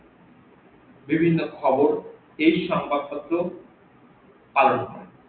বিভিন্ন খবর এই সংবাদ পত্র আর